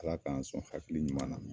Ala k'an sɔn hakili ɲuman na.